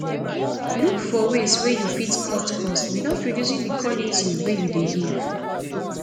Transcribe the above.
look for ways wey you fit cut cost without reducing di quality wey you dey give